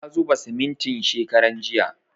Ya zuba simintin shekaran jiya